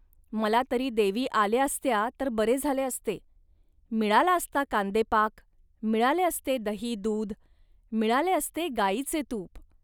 मला तरी देवी आल्या असत्या, तर बरे झाले असते. मिळाला असता कांदेपाक, मिळाले असते दहीदूध, मिळाले असते गाईचे तूप